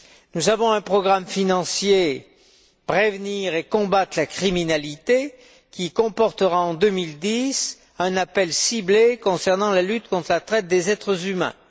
Nous avons un programme financier Prévenir et combattre la criminalité qui comportera, en 2010, un appel ciblé concernant la lutte contre la traite des êtres humains.